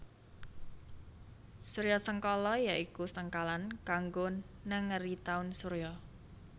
Suryasengkala ya iku sengkalan kanggo nengeri taun surya